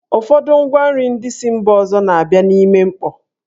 Ụfọdụ ngwa nri ndị si mba ọzọ na-abịa n'ime mkpọ.